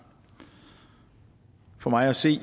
for mig at se